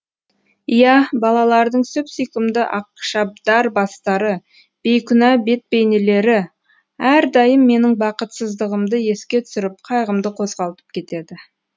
иә балалардың сүп сүйкімді ақшабдар бастары бейкүнә бетбейнелері әрдайым менің бақытсыздығымды еске түсіріп қайғымды қозғалтып кетеді